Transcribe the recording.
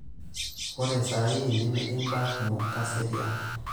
Ore sahii nemetii mbaa kumok, kaserian.